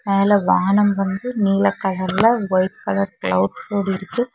மேல வானம் வந்து நீல கலர்ல ஒயிட் கலர் கிளவுட்ஸ் ஓட இருக்கு.